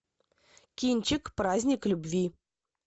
кинчик праздник любви